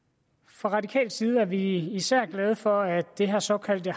fra radikal side er vi især glade for at det her såkaldte